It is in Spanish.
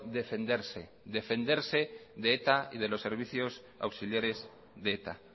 defenderse defenderse de eta y de los servicios auxiliares de eta